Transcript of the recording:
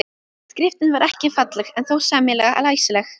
Skriftin var ekki falleg en þó sæmilega læsileg.